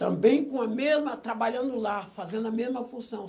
Também com a mesma trabalhando lá, fazendo a mesma função.